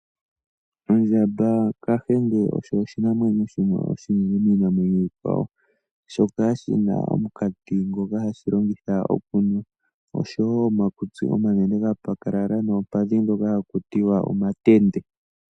Ondjamba kahenge osho oshinamwenyo oshinene miinamwenyo iikwawo, shoka shi na omunkati ngoka hashi longitha okunwa osho wo omakutsi ngoka omanene gapakalala noompadhi haku tiwa omatende.